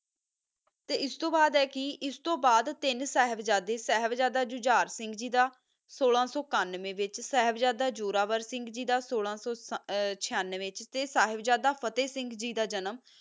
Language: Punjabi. ਤਾ ਆਸ ਤੋ ਬਾਦ ਆ ਕੀ ਤਿਨ ਸਾਹਿਬ ਜ਼ਾਯਦਾ ਸਿੰਘ ਗੀ ਦਾ ਸੋਆ ਸੋ ਕੰਵਾ ਵਿਤਚ ਸਾਹਿਬ ਜ਼ਾਯਦਾ ਜੋਰ ਸਿੰਘ ਗੀ ਦਾ ਰਾਹਤ ਫਾਥਾ ਸ੍ਸਿੰਘ ਗੀ ਦਾ ਜਨਮ